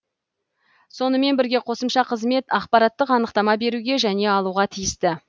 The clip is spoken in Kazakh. сонымен бірге қосымша қызмет ақпараттық анықтама беруге және алуға тиісті